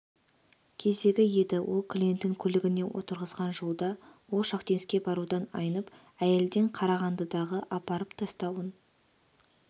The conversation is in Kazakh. кезегі еді ол клиентін көлігіне отырғызған жолда ол шахтинскке барудан айнып әйелден қарағандыдағы апарып тастауын